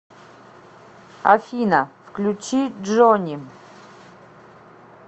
афина включи джони